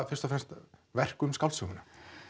fyrst og fremst verk um skáldsöguna